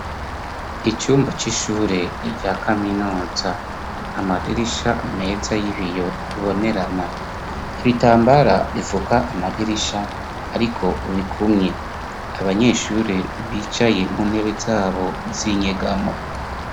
Icumba c'ishure rya kaminuza ,amadirisha meza y'ibiyo bibonerana ,ibitambara bifuka amadirisha ariko bikumye, abanyeshure bicaye mu ntebe zabo z'inyegamo.